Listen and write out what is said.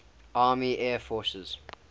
army air forces